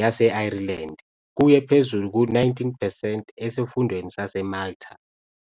yase-Ireland kuye phezulu ku-19 percent esifundweni saseMalta.